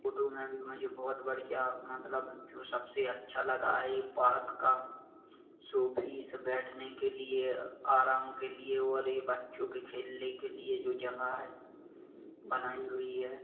Photo मे मुझे बहुत बढ़िया मतलब जो सबसे अच्छा लगा ए पार्क का शो फीस बैठने के लिए आराम के लिए और ये बच्चों के खेलने के लिए जो जगह है बनाई हुई है।